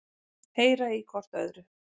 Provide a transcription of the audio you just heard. Heyra í hvort öðru.